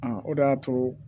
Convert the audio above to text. o de y'a to